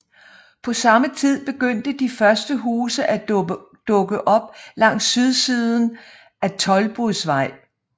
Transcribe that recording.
På samme tid begyndte de første huse at dukke op langs sydsiden af Toldbodvej